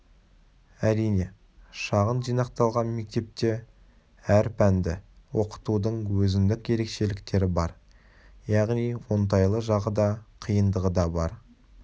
әрине шағын жинақталған мектепте әр пәнді оқытудың өзіндік ерекшеліктері бар яғни оңтайлы жағы да қиындығы да бар